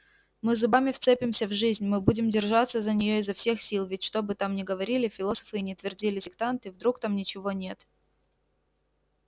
мы зубами вцепимся в жизнь мы будем держаться за нее изо всех сил ведь что бы там ни говорили философы и ни твердили сектанты вдруг там ничего нет